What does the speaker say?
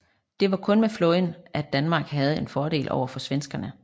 Det var kun med flåden at Danmark havde en fordel overfor svenskerne